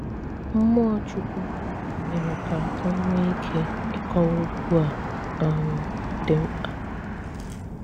Mmụọ̀ Chukwù mere ka ò nwee ike ị́kọ́wa okwù a um dị̀ mkpa